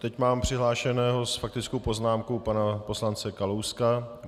Teď mám přihlášeného s faktickou poznámkou pana poslance Kalouska.